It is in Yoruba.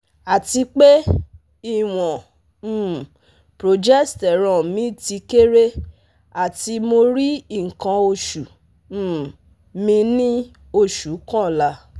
Atipe, iwon um progesterone mi ti kere ati mo ri ikan osu um mi ni osu kanla